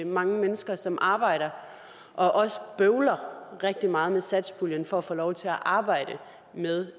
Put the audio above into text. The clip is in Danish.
mange mennesker som arbejder og også bøvler rigtig meget med satspuljen for at få lov til at arbejde med